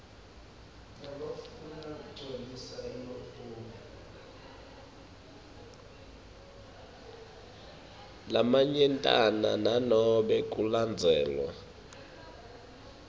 lamanyentana nanobe kulandzelwe